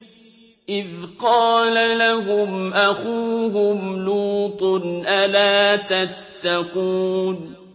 إِذْ قَالَ لَهُمْ أَخُوهُمْ لُوطٌ أَلَا تَتَّقُونَ